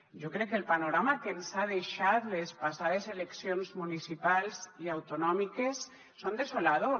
jo crec que el panorama que ens han deixat les passades eleccions municipals i autonòmiques és desolador